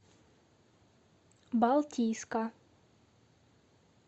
балтийска